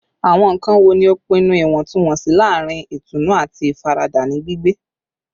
Awọn nkan wo ni o pinnu iwọntunwọnsi laarin itunu ati ifarada ni gbigbe?